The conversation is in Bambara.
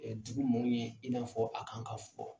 Dugu maaw ɲɛ i n'a fɔ a kan ka fɔ.